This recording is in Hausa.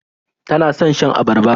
Tana son shan abarba.